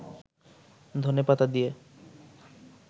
ধনেপাতা দিয়ে